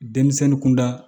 Denmisɛnnin kunda